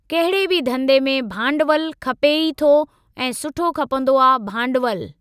कहिड़े बि धंधे में भांडवल खपे ई थो ऐं सुठो खपंदो आ भांडवल।